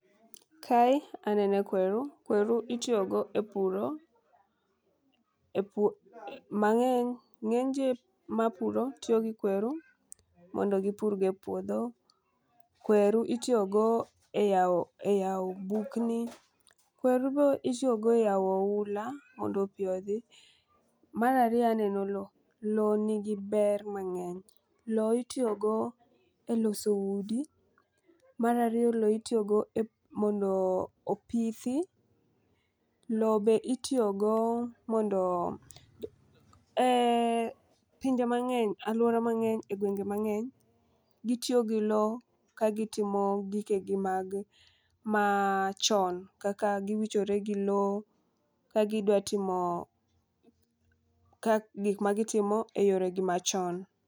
Kae aneno kweru. Kweru itiyo go e puro. E pur mang'eny ng'eny ji mapuro tiyo gi kweru mondo gipur go e puodho. Kweru itiyo go e yawo bugni. Kweru be itiyogo e yawo oula mondo pi odhi. Mara riyo eneno low. Low nigi ber mang'eny. Low itiyo go e loso udi. Mara riyo low itiyo go mondo opithi. Low be itiyogo mondo pinje mang'eny aluora mang'eny e gwenge mang'eny gitiyo gi low kagitimo gike gi machon kaka giwichore gi low ka gidwa timo gik magitimo e yoregi machon.